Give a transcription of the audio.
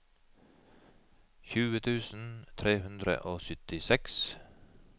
tjue tusen tre hundre og syttiseks